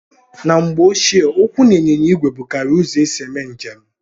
Na mgbe ochie ụkwụ na ịnyịnya ìgwè bụkarịrị uzo esị eme njem